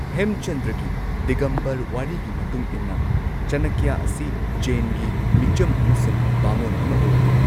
ꯍꯦꯝꯆꯟꯗ꯭ꯔꯒꯤ ꯗꯤꯒꯝꯕꯔ ꯋꯥꯔꯤꯒꯤ ꯃꯇꯨꯡ ꯏꯟꯅ ꯆꯅꯀ꯭ꯌꯥ ꯑꯁꯤ ꯖꯦꯟꯒꯤ ꯃꯤꯆꯝ ꯑꯃꯁꯨꯡ ꯚꯥꯃꯣꯟ ꯑꯃ ꯑꯣꯏꯔꯝꯃꯤ꯫